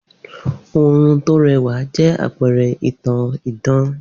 Oorun tó rẹwà jẹ́ àpẹrẹ ìtàn idán